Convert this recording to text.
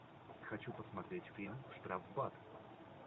хочу посмотреть фильм штрафбат